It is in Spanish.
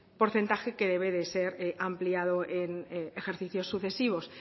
porcentaje que debe de ser ampliado en ejercicios sucesivos